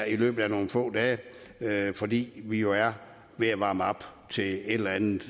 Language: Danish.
i løbet af nogle få dage fordi vi jo er ved at varme op til et eller andet